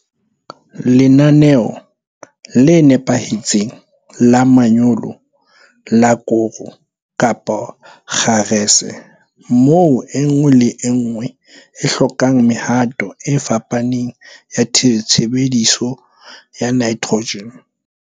Lenaneo le nepahetseng la manyolo la koro kapa kgarese moo e nngwe le e nngwe e hlokang mehato e fapaneng ya tshebediso ya nitrogen.